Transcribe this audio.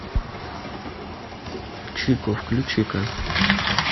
чико включи ка